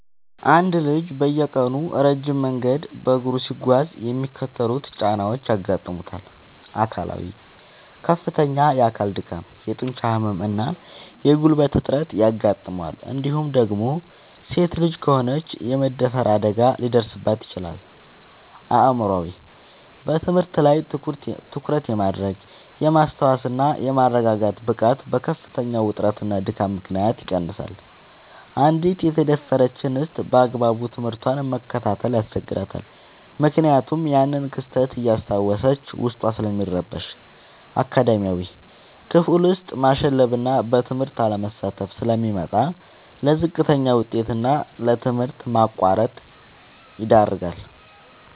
አንድ ልጅ በየቀኑ ረጅም መንገድ በእግሩ ሲጓዝ የሚከተሉት ጫናዎች ያጋጥሙታል፦ አካላዊ፦ ከፍተኛ የአካል ድካም፣ የጡንቻ ህመም እና የጉልበት እጥረት ያጋጥመዋል እንዲሁም ደግሞ ሴት ልጅ ከሆነች የመደፈር አደጋ ሊደርስባት ይችላል። አእምሯዊ፦ በትምህርት ላይ ትኩረት የማድረግ፣ የማስታወስ እና የመረጋጋት ብቃቱ በከፍተኛ ውጥረትና ድካም ምክንያት ይቀንሳል: አንዲት የተደፈረች እንስት ባግባቡ ትምህርቷን መከታተል ያስቸግራታል ምክንያቱም ያንን ክስተት እያስታወሰች ዉስጧ ስለሚረበሽ። አካዳሚያዊ፦ ክፍል ውስጥ ማሸለብና በትምህርቱ አለመሳተፍ ስለሚመጣ: ለዝቅተኛ ውጤት እና ለትምህርት ማቋረጥ ይዳረጋል።